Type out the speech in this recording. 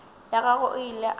ya gagwe o ile a